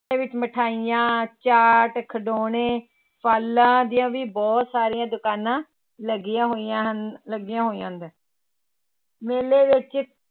ਵਿੱਚ ਮਠਿਆਈਆਂ, ਚਾਟ, ਖਿਡੋਣੇ, ਫ਼ਲਾਂ ਦੀਆਂ ਵੀ ਬਹੁਤ ਸਾਰੀਆਂ ਦੁਕਾਨਾਂ ਲੱਗੀਆਂ ਹੋਈਆਂ ਲੱਗੀਆਂ ਹੋਈਆਂ ਮੇਲੇ ਵਿੱਚ